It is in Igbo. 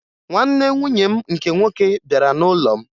Nwanne nwunye m nke nwoke bịara n'ụlọ m